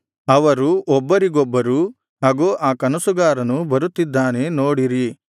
ಅವರು ಒಬ್ಬರಿಗೊಬ್ಬರು ಅಗೋ ಆ ಕನಸುಗಾರನು ಬರುತ್ತಿದ್ದಾನೆ ನೋಡಿರಿ